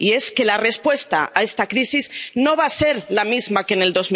Y es que la respuesta a esta crisis no va a ser la misma que en el